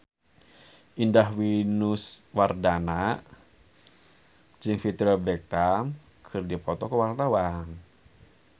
Indah Wisnuwardana jeung Victoria Beckham keur dipoto ku wartawan